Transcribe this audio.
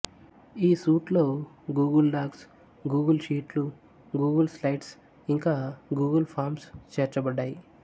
ఈ సూట్ లో Google Docs Google షీట్లు గూగుల్ స్లైడ్స్ ఇంకా గూగుల్ ఫార్మ్స్ చేర్చబడ్డాయి